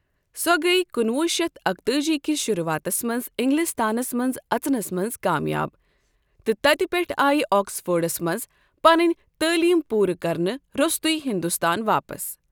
سۄ گٔیۍ کُنہٕ وُہ شتھ اکتٲجی کِس شروعاتس منٛز اِنگلِستانس منٛز اژنَس منٛز کامیاب تہٕ تَتہِ پٮ۪ٹھہٕ آیہٕ آکسفورڈس منٛز پنٕنۍ تعٲلیم پوٗرٕ کرنہٕ روستٕے ہندوستان واپس۔